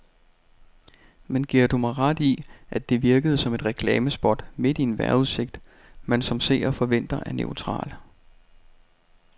Men giver du mig ret i, at det virkede som et reklamespot midt i en vejrudsigt, man som seer forventer er neutral.